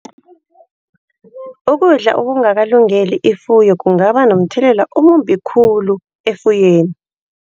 Ukudla okungakalungeli ifuyo kungaba nomthelela omumbi khulu efuyweni.